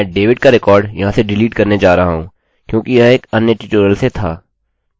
मैं david का record यहाँ से डिलीट करने जा रहा हूँ क्योंकि यह एक अन्य ट्यूटोरियल से था